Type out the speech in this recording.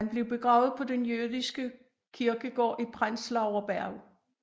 Han blev begravet på den jødiske kirkegård i Prenzlauer Berg